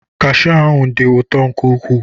Kashiu ahụ dị ụtọ nke ukwuu.